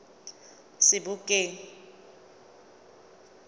sebokeng